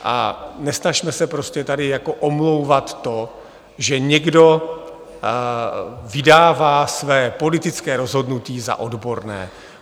A nesnažme se prostě tady jako omlouvat to, že někdo vydává své politické rozhodnutí za odborné.